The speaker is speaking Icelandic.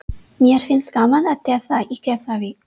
Mér finnst gaman að tefla í Keflavík.